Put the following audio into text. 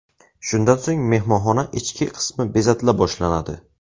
Shundan so‘ng mehmonxona ichki qismi bezatila boshlanadi.